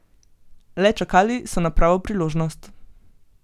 Le čakali so na pravo priložnost.